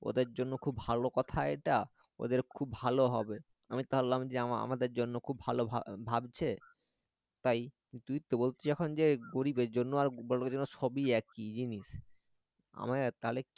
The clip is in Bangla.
ওদের জন্য খুব ভালো কথা এটা ওদের খুব ভালো হবে আমি তো ভাবলাম আমাদের জন্য খুব ভা ভাবছে তাই তুই তো বলছি এখন গরিবের জন্য বড়ো লোকের জন্য সবই একই জিনিস আমার তাহলে